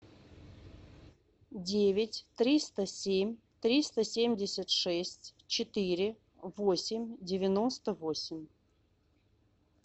девять триста семь триста семьдесят шесть четыре восемь девяносто восемь